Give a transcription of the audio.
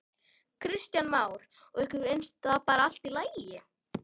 Kristján Már: Og ykkur finnst það bara allt í lagi?